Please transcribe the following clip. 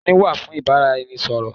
Ẹnu wà fún ìbáraẹnisọ̀rọ̀.